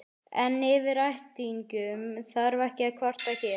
En yfir ættingjum þarf ekki að kvarta hér.